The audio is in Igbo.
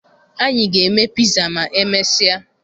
Anyị ga-eme piza ma e mesịa